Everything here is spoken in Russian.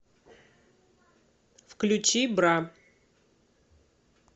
включи бра